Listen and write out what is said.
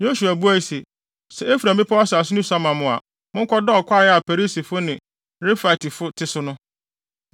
Yosua buaa se, “Sɛ Efraim bepɔw asase no sua ma mo a, monkɔdɔw kwae a Perisifo ne Refaitefo te so no.”